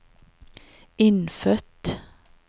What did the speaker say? innfødt